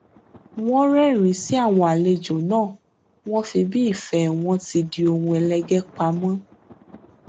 wọn rẹrìnín sí àwọn àlejò náà wọn fi bí ìfẹ wọn ti di ohun ẹlẹgẹ pamọ